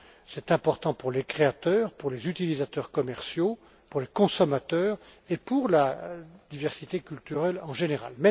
C'est important pour les créateurs, pour les utilisateurs commerciaux, pour les consommateurs et pour la diversité culturelle en général.